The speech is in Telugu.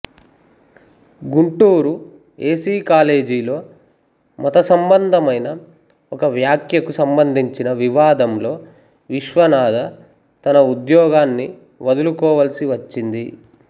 గుంటూరు ఏ సి కాలేజిలో మత సంబంధమైన ఒక వ్యాఖ్యకు సంబంధించిన వివాదంలో విశ్వనాధ తన ఉద్యోగాన్ని వదులుకోవలసివచ్చింది